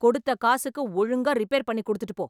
கொடுத்த காசுக்கு ஒழுங்கா ரிப்பேர் பண்ணி கொடுத்துட்டு போ